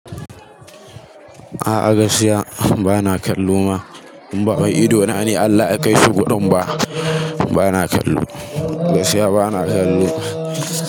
A'a gaskiya bana kallo ma. In ba wai idona ne Allah ya kaishi gurin ba, bana kallo. Gaskiya bana kallo.